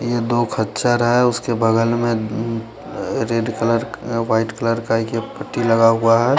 ये दो ख्च्चर है उसके बगल में रेड कलर वाइट कलर का एक ये पट्टी लगा हुआ है।